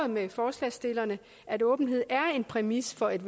med forslagsstillerne at åbenhed er en præmis for et